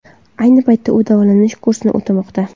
Ayni paytda u davolanish kursini o‘tamoqda.